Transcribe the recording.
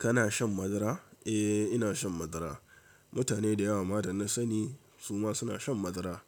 Kana shan madara? Eh, ina shan madara. Mutane da yawa ma da na sani suma suna shan madara.